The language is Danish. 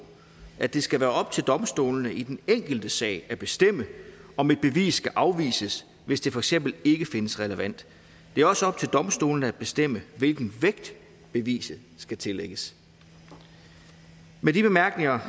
at det skal være op til domstolene i den enkelte sag at bestemme om et bevis skal afvises hvis det for eksempel ikke findes relevant det er også op til domstolene at bestemme hvilken vægt beviset skal tillægges med de bemærkninger